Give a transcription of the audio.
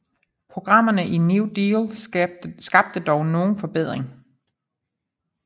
Programmerne i New Deal skabte dog nogen forbedring